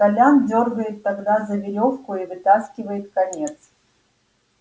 толян дёргает тогда за верёвку и вытаскивает конец